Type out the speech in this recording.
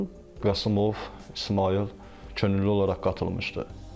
Qasımov İsmayıl könüllü olaraq qatılmışdı.